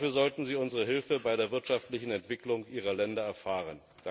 Dafür sollten sie unsere Hilfe bei der wirtschaftlichen Entwicklung ihrer Länder erfahren.